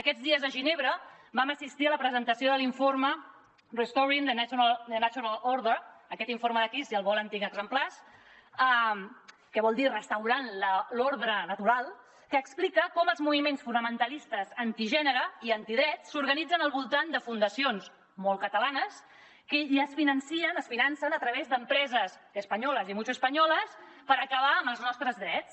aquests dies a ginebra vam assistir a la presentació de l’informe restoring the natural order exemplars que vol dir restaurant l’ordre natural que explica com els moviments fonamentalistes antigènere i antidrets s’organitzen al voltant de fundacions molt catalanes i es financen a través d’empreses españolas y mucho españolas per acabar amb els nostres drets